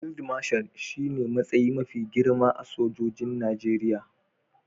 Field Marshal shine matsayi mafi girma a cikin sojojin Najeriya